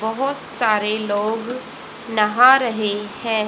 बहोत सारे लोग नहा रहे हैं।